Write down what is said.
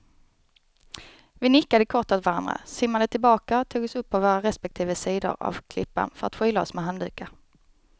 Vi nickade kort åt varandra, simmade tillbaka och tog oss upp på våra respektive sidor av klippan för att skyla oss med handdukar.